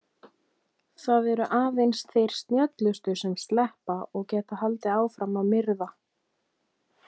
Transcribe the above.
Það eru aðeins þeir snjöllustu sem sleppa og geta haldið áfram að myrða.